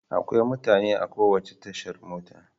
Akwai mutane a kowace tashar mota.